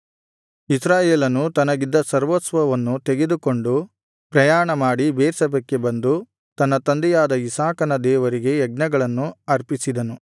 ಇಸ್ರಾಯೇಲನು ತನಗಿದ್ದ ಸರ್ವಸ್ವವನ್ನು ತೆಗೆದುಕೊಂಡು ಪ್ರಯಾಣ ಮಾಡಿ ಬೇರ್ಷೆಬಕ್ಕೆ ಬಂದು ತನ್ನ ತಂದೆಯಾದ ಇಸಾಕನ ದೇವರಿಗೆ ಯಜ್ಞಗಳನ್ನು ಅರ್ಪಿಸಿದನು